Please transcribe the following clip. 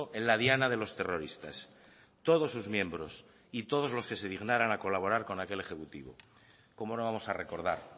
en la diana de los terroristas todos sus miembros y todos los que se dignaran a colaborar con aquel ejecutivo cómo no vamos a recordar